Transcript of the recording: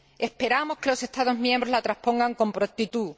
Esperamos que los Estados miembros la transpongan con prontitud.